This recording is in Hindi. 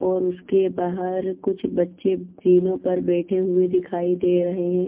और उसके बाहर कुछ बच्चे जिनों पर बैठे हुए दिखाई दे रहे हैं।